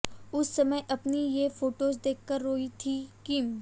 उस समय अपनी ये फोटोज देखकर रोईं थीं किम